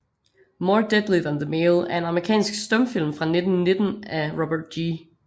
More Deadly Than the Male er en amerikansk stumfilm fra 1919 af Robert G